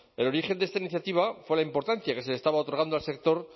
el origen de esta iniciativa fue la importancia que se le estaba otorgando al sector